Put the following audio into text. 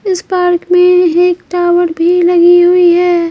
इस पार्क में एक टावर भी लगी हुई है।